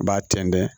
B'a tɛntɛn